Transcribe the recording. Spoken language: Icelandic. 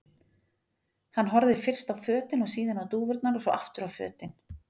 Hann horfði fyrst á fötin og síðan á dúfurnar og svo aftur á fötin.